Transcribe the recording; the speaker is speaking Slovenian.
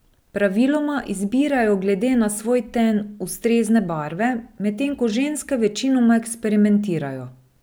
Praviloma izbirajo glede na svoj ten ustrezne barve, medtem ko ženske večinoma eksperimentirajo.